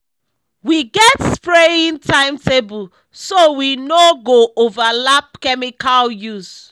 we get spraying timetable so we no go overlap chemical use.